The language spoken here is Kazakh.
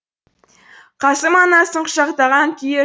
қасым анасын құшақтаған күйі